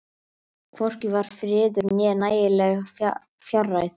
Hvorki var friður né nægileg fjárráð.